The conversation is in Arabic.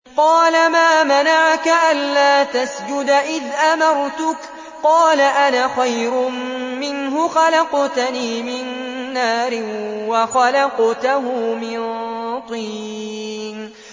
قَالَ مَا مَنَعَكَ أَلَّا تَسْجُدَ إِذْ أَمَرْتُكَ ۖ قَالَ أَنَا خَيْرٌ مِّنْهُ خَلَقْتَنِي مِن نَّارٍ وَخَلَقْتَهُ مِن طِينٍ